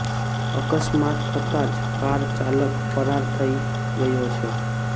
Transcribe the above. અકસ્માત થતાં જ કાર ચાલક ફરાર થઈ ગયો છે